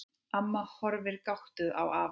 Amma horfir gáttuð á afa.